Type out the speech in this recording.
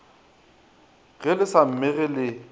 ge le sa mmege le